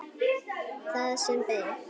Það sem beið.